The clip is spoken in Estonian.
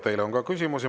Teile on ka küsimusi.